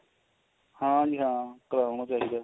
ਹਾਂਜੀ ਹਾਂ ਕਰਾਵਾ ਗਏ ਜੀ test